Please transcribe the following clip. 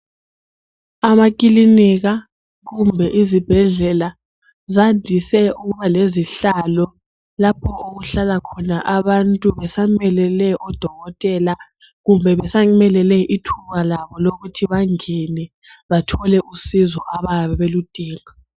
Amakilinika kumbe izibhedlela ziyandise ukuba lezihlalo laoho okuhlalakhona abantu besamelele odokotela kumbe besamelele ithuba labo lokuthi bangene bathole usizo ababe beludinga.